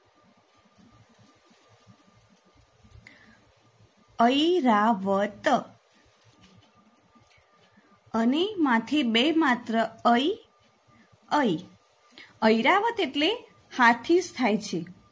ઐરાવત અને માથે બે માત્ર ઐ ઐ ઐરાવત એટલે હાથી જ થાય છે.